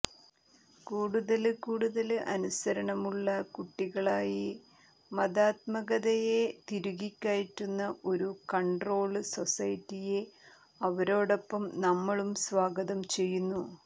കൂടുതല്ക്കൂടുതല് അനുസരണമുള്ള കുട്ടികളായി മതാത്മകതയെ തിരുകിക്കയറ്റുന്ന ഒരു കണ്ട്രോള് സൊസൈറ്റിയെ അവരോടൊപ്പം നമ്മളും സ്വാഗതം ചെയ്യുന്നു